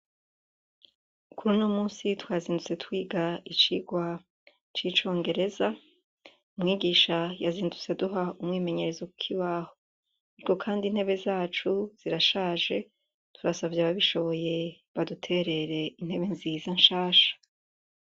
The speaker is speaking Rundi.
Kuri uni munsi twazindutse twiga icigwa c'icongereza umwigisha yazindutse aduha umwimenyerezo ku kibaho. Kandi intebe zacu zirashaje turasavye ababishoboye baduterere intebe nziza nshasha.